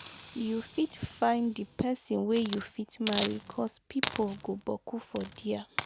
yu fit find di pesin wey yu fit marry cos pipo go boku for dia